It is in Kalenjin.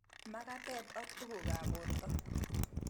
Mag'atet ak tug'uk ab porto